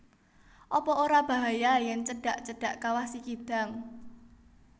Apa ora bahaya yen cedak cedak Kawah Sikidang?